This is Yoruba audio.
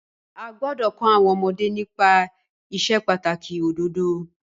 A gbọ́dọ̀ kọ́ àwọn ọmọdé nípa ìsepàtàkì òdodo.